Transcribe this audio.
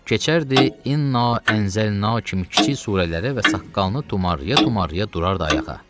Keçərdi inna ənzəlnə kimi kiçik surələri və saqqalını tumarlaya-tumarlaya durardı ayağa.